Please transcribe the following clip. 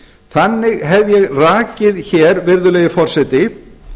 þannig hef ég rakið hér virðulegi forseti